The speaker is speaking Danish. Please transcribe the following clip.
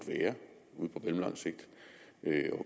mellemlang sigt